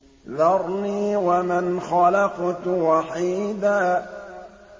ذَرْنِي وَمَنْ خَلَقْتُ وَحِيدًا